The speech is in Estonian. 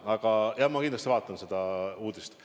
Aga jah, ma pärast kindlasti vaatan seda uudist.